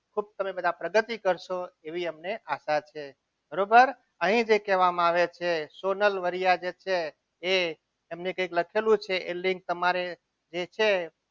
ખૂબ તમે બધા પ્રગતિ કરશો એવી અમને આશા છે કહેવામાં આવે છે અહીં જે કહેવામાં આવે છે સોનલ વરિયા જે છે એ એમને કંઈક લખેલું છે તમારે જે છે.